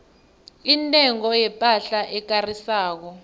intengo yepahla ekarisako